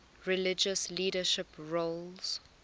religious leadership roles